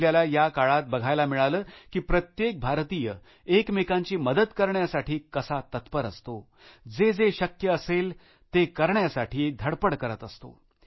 आपल्याला या काळात बघायला मिळालं की प्रत्येक भारतीय एकमेकांची मदत करण्यासाठी कसे तत्पर असतात जे जे शक्य असले ते करण्यासाठी धडपड करत असतात